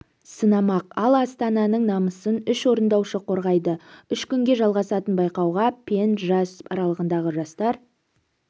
сынамақ ал астананың намысын үш орындаушы қорғайды үш күнге жалғасатын байқауға пен жас аралығындағы жастар